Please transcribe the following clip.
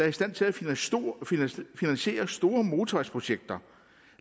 i stand til at finansiere store motorvejsprojekter